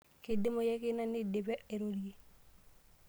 Keidimayu ake ina teneidipi airorie.